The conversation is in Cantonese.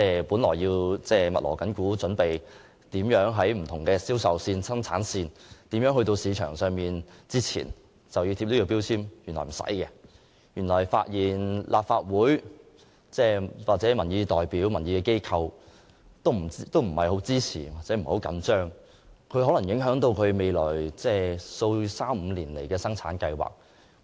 他們原本正在密鑼緊鼓，準備在不同銷售線、生產線以至送往市場之前為產品貼上能源標籤，如立法會內的民意代表並不支持強制性標籤計劃，將可能影響生產商未來3至5年的生產計劃。